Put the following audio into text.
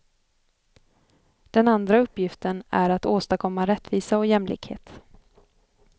Den andra uppgiften är att åstadkomma rättvisa och jämlikhet.